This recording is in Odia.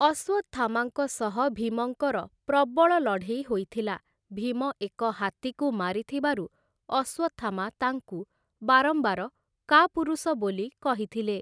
ଅଶ୍ୱତ୍ଥାମାଙ୍କ ସହ ଭୀମଙ୍କର ପ୍ରବଳ ଲଢ଼େଇ ହୋଇଥିଲା, ଭୀମ ଏକ ହାତୀକୁ ମାରିଥିବାରୁ ଅଶ୍ୱତ୍ଥାମା ତାଙ୍କୁ ବାରମ୍ବାର କାପୁରୁଷ ବୋଲି କହିଥିଲେ ।